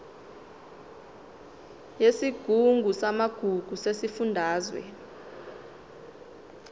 yesigungu samagugu sesifundazwe